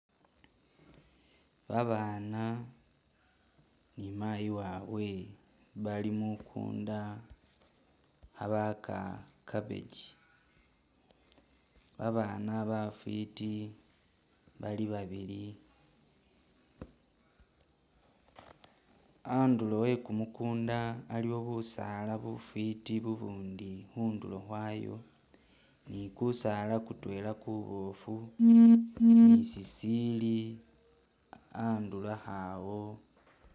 Babaana ni mayi wabwe bali mukundu khabaaka cabbage babana bafwiti bali babili, andulo we kumukunda aliwo busaala bufwiti bubundi khundulo khwayo ni kusaala kutwela kuboofu ni sisili andulukho awo